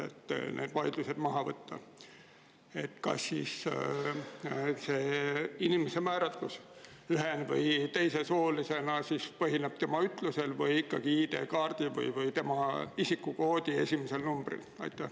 Et neid vaidlusi maha võtta, siis kas inimese määratlus ühe‑ või teisesoolisena põhineb tema ütlusel või ikkagi ID-kaardil ja tema isikukoodi esimesel numbril?